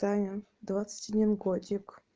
таня двадцать один годик